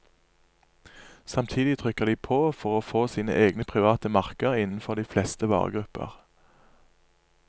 Samtidig trykker de på for å få sine egne private merker innenfor de fleste varegrupper.